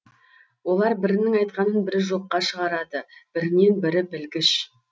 олар бірінің айтқанын бірі жоққа шығарады бірінен бірі білгіш